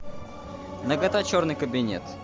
нагато черный кабинет